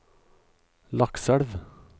Lakselv